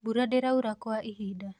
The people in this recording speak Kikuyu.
mbura ndiraura kwa ihinda